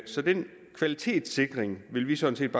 så den kvalitetssikring vil vi sådan